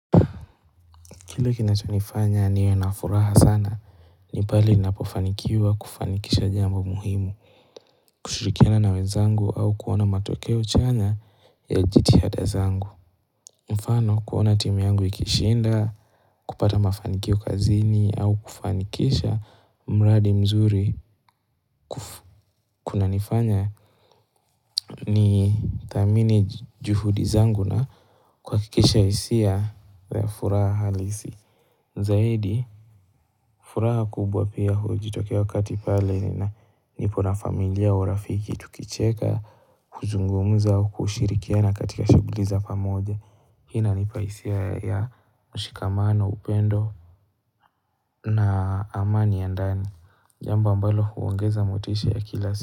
Kile kinacho nifanya niwe na furaha sana, ni pale napofanikiwa kufanikisha jambo muhimu. Kushirikiana na wezangu au kuona matokeo chanya ya jiti hada zangu. Mfano kuona timu yangu ikishinda, kupata mafanikio kazini au kufanikisha mraadi mzuri. Kuna nifanya ni thamini juhudi zangu na kuhakikisha hisia ya furaha halisi. Zaidi, furaha kubwa pia hujitokea wakati pale na nipo na familia urafiki tukicheka, kuzungumza au kushirikiana katika shuguli za pamoja Inanipa hisia ya mshikamano, upendo na amani ya ndani Jamba ambalo huongeza motisha ya kila siku.